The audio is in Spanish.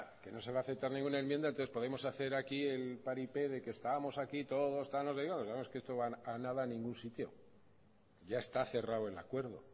que no se va aceptar ninguna enmienda entonces podemos hacer aquí el paripé de que estamos aquí todos no va a ningún sitio ya está cerrado el acuerdo